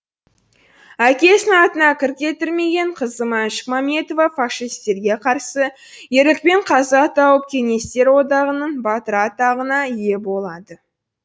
әкесінің атына кір келтірмеген қызы маншүк мәметова фашистерге қарсы ерлікпен қаза тауып кеңестер одағының батыры атағына ие болады